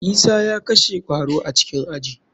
Isa ya kashe kwaro a cikin aji.